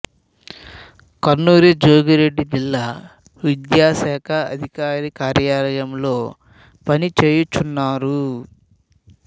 కన్నూరి జోగిరెడ్డి జిల్లా విద్యాశాఖాదికారి కార్యాలయంలో పని చేయు చ్గున్నారు